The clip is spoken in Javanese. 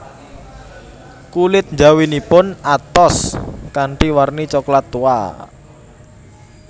Kulit njawinipun atos kanthi warni coklat tua